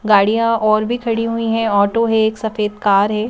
गाड़ियाँ और भी खड़ी हुई हैं ऑटो है एक सफेद कार है ।